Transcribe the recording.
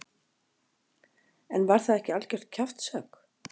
En var það ekki algjört kjaftshögg?